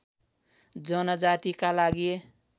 जनजातिका लागि